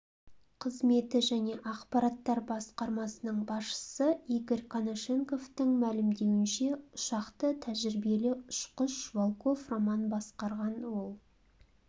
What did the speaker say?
қызметі және ақпараттар басқармасының басшысы игорь конашенковтың мәлімдеуінше ұшақты тәжірибелі ұшқыш волков роман басқарған ол